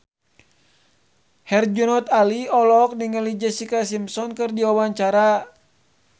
Herjunot Ali olohok ningali Jessica Simpson keur diwawancara